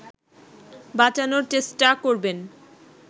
বাঁচানোর চেষ্টা করবেন